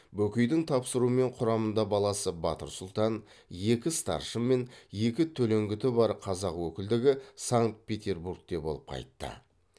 бөкейдің тапсыруымен құрамында баласы батыр сұлтан екі старшын мен екі төлеңгіті бар қазақ өкілдігі санкт петербургте болып қайтты